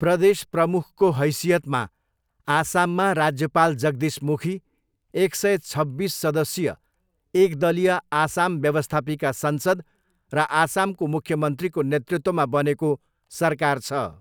प्रदेश प्रमुखको हैसियतमा आसाममा राज्यपाल जगदीश मुखी, एक सय छब्बिस सदस्यीय एकदलीय आसाम व्यवस्थापिका संसद र आसामको मुख्यमन्त्रीको नेतृत्वमा बनेको सरकार छ।